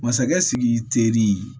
Masakɛ sidiki teri